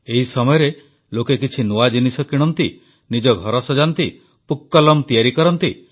ଏହି ସମୟରେ ଲୋକେ କିଛି ନୂଆ ଜିନିଷ କିଣନ୍ତି ନିଜ ଘର ସଜାନ୍ତି ପୁକ୍କଲମ୍ ତିଆରି କରନ୍ତି